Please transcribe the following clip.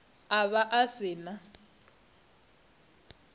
a vha a si na